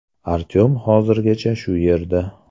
Artyom hozirgacha shu yerda.